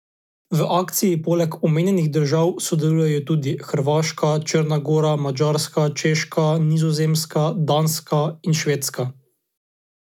V akciji poleg omenjenih držav sodelujejo tudi Hrvaška, Črna gora, Madžarska, Češka, Nizozemska, Danska in Švedska.